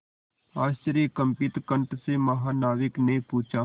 आश्चर्यकंपित कंठ से महानाविक ने पूछा